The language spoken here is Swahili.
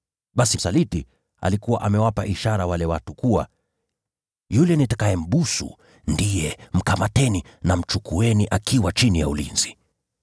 Basi msaliti alikuwa amewapa hao watu ishara, kwamba: “Yule nitakayembusu ndiye. Mkamateni, mkamchukue chini ya ulinzi.”